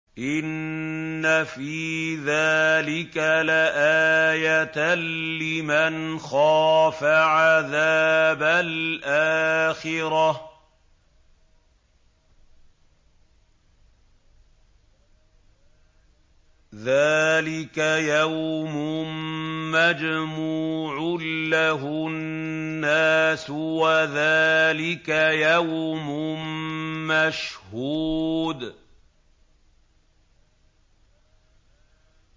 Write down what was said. إِنَّ فِي ذَٰلِكَ لَآيَةً لِّمَنْ خَافَ عَذَابَ الْآخِرَةِ ۚ ذَٰلِكَ يَوْمٌ مَّجْمُوعٌ لَّهُ النَّاسُ وَذَٰلِكَ يَوْمٌ مَّشْهُودٌ